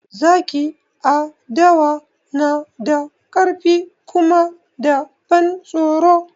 Zaki a dawa na da ƙarfi kuma da ban tsoro